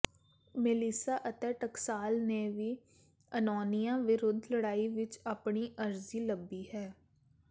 Melissa ਅਤੇ ਟਕਸਾਲ ਨੇ ਵੀ ਅਨੌਂਨੀਆ ਵਿਰੁੱਧ ਲੜਾਈ ਵਿਚ ਆਪਣੀ ਅਰਜ਼ੀ ਲੱਭੀ ਹੈ